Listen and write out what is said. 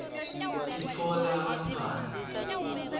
titfola bantfwana